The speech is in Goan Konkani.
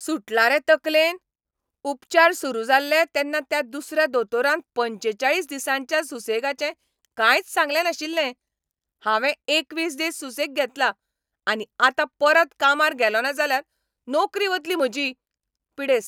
सुटला रे तकलेन? उपचार सुरू जाल्ले तेन्ना त्या दुसऱ्या दोतोरान पंचेचाळीस दिसांच्या सुसेगाचें कांयच सांगलें नाशिल्लें. हांवें एकवीस दीस सुसेग घेतला, आनी आतां परत कामार गेलोंना जाल्यार नोकरी वतली म्हजी. पिडेस्त